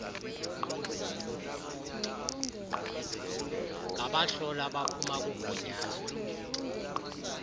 ngabahloli abaphuma kugunyaziwe